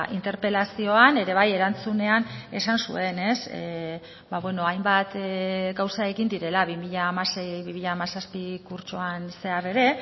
interpelazioan ere bai erantzunean esan zuen hainbat gauza egin direla bi mila hamasei bi mila hamazazpi kurtsoan zehar ere